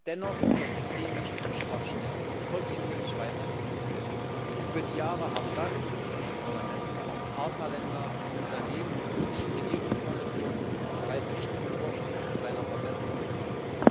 Dennoch ist das System nicht ohne Schwachstellen und muss kontinuierlich weiterentwickelt werden. Über die Jahre hinweg haben das Europäische Parlament, aber auch Partnerländer, Unternehmen und nichtstaatliche Organisationen bereits wichtige Vorschläge zu seiner Verbesserung gemacht.